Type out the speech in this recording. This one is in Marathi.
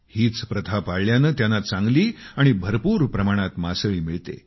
हीच प्रथा पाळल्याने त्यांना चांगली आणि भरपूर प्रमाणात मासळी मिळते